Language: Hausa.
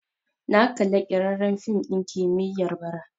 Na kalla ƙirƙirarren fim ɗin kimiyya bara